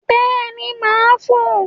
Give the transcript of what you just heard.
Bẹ́ẹ̀ni, màá fò ó